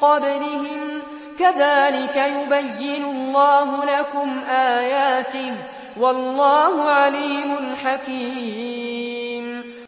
قَبْلِهِمْ ۚ كَذَٰلِكَ يُبَيِّنُ اللَّهُ لَكُمْ آيَاتِهِ ۗ وَاللَّهُ عَلِيمٌ حَكِيمٌ